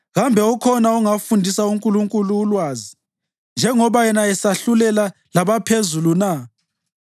Kambe ukhona ongafundisa uNkulunkulu ulwazi, njengoba yena esahlulela labaphezulu na?